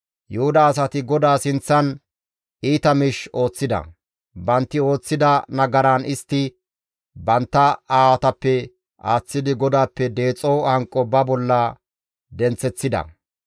Yuhuda asati GODAA sinththan iita miish ooththida; bantti ooththida nagaran istti bantta aawatappe aaththidi GODAAPPE deexo hanqo ba bolla denththeththida.